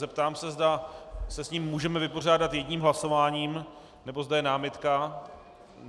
Zeptám se, zda se s ním můžeme vypořádat jedním hlasováním, nebo zda je námitka.